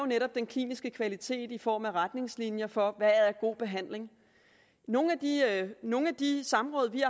netop den kliniske kvalitet i form af retningslinjer for hvad der er god behandling i nogle af de samråd vi